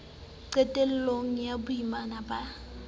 qetel long ya boimana ba